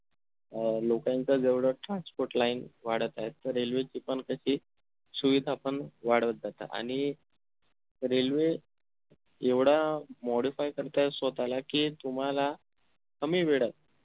अह लोकांचं जेवढं transport line वाढत आहेत तर railway ची पण कशी सुविधा पण वाढवत जात आणि railway एवढा modify करतंय स्वतःला कि तुम्हाला कमी वेडत